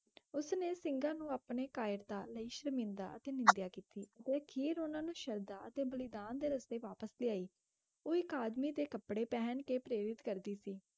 ਉਸਨੇ ਸਿੰਘਾਂ ਨੂੰ ਆਪਣੇ ਕਾਇਰਤਾ ਲਈ ਸ਼ਰਮਿੰਦਾ ਅਤੇ ਨਿੰਦਿਆ ਕੀਤੀ ਅਤੇ ਅਖੀਰ ਉਹਨਾਂ ਨੂੰ ਸ਼ਰਧਾ ਅਤੇ ਬਲੀਦਾਨ ਦੇ ਰਸਤੇ ਵਾਪਸ ਲਿਆਈ, ਉਹ ਇਕ ਆਦਮੀ ਦੇ ਕੱਪੜੇ ਪਹਿਨ ਕੇ ਪ੍ਰੇਰਿਤ ਕਰਦੀ ਸੀ,